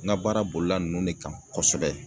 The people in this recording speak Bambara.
Ŋa baara bolila nunnu ne kan kɔsɛbɛ.